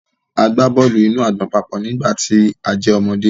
A gba bọọlu-inu-agbọn papọ nigbati a jẹ ọmọde.